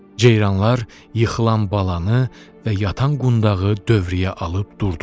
Ceyranlar yıxılan balanı və yatan qundağı dövrəyə alıb durdular.